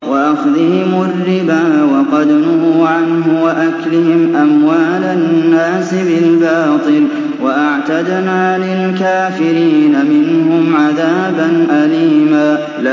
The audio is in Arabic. وَأَخْذِهِمُ الرِّبَا وَقَدْ نُهُوا عَنْهُ وَأَكْلِهِمْ أَمْوَالَ النَّاسِ بِالْبَاطِلِ ۚ وَأَعْتَدْنَا لِلْكَافِرِينَ مِنْهُمْ عَذَابًا أَلِيمًا